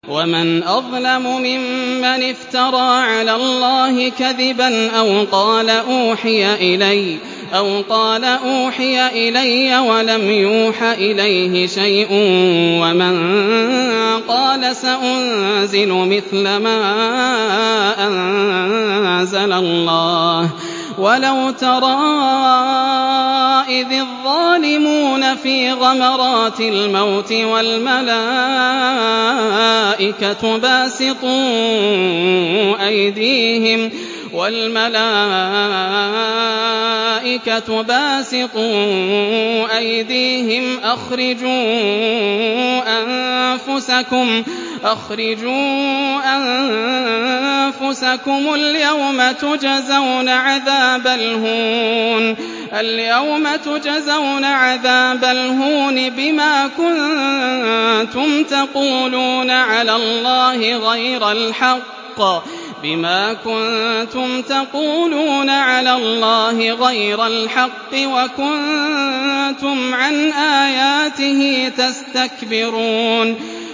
وَمَنْ أَظْلَمُ مِمَّنِ افْتَرَىٰ عَلَى اللَّهِ كَذِبًا أَوْ قَالَ أُوحِيَ إِلَيَّ وَلَمْ يُوحَ إِلَيْهِ شَيْءٌ وَمَن قَالَ سَأُنزِلُ مِثْلَ مَا أَنزَلَ اللَّهُ ۗ وَلَوْ تَرَىٰ إِذِ الظَّالِمُونَ فِي غَمَرَاتِ الْمَوْتِ وَالْمَلَائِكَةُ بَاسِطُو أَيْدِيهِمْ أَخْرِجُوا أَنفُسَكُمُ ۖ الْيَوْمَ تُجْزَوْنَ عَذَابَ الْهُونِ بِمَا كُنتُمْ تَقُولُونَ عَلَى اللَّهِ غَيْرَ الْحَقِّ وَكُنتُمْ عَنْ آيَاتِهِ تَسْتَكْبِرُونَ